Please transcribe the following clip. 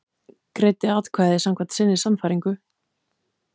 Greiddi atkvæði samkvæmt sinni sannfæringu